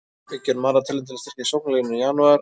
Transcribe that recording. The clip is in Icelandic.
Við gerum aðra tilraun til að styrkja sóknarlínuna í janúar.